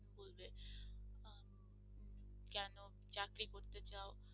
কেন চাকরি করতে চাও,